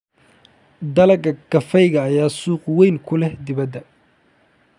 Dalagga kafeega ayaa suuq weyn ku leh dibadda.